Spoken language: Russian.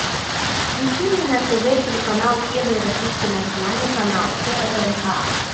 включи мне на тв телеканал первый российский национальный канал прнк